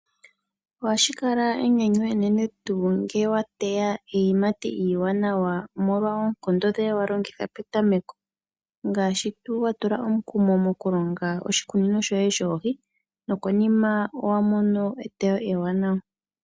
Ohashi kala enyanyu enene ngele wa teya iiyimati iiwanawa, omolwa oonkondo ndhoka wa longitha petameko , ngaashi tuu wa tula omukumo mokulonga oshikunino shoye shoohi nokonima oho mono eteyo ewanawa.